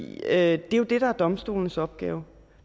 det er jo det der er domstolenes opgave